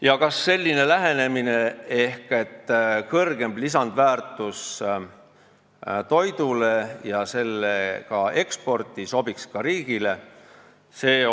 Ja kas selline lähenemine ehk "kõrgem lisandväärtus toidule ja selle eksport" sobiks ka riigile?